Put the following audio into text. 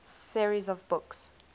series of books